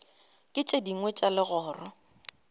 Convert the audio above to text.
le tše dingwe tša legoro